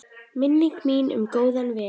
Minning mín um góðan vin.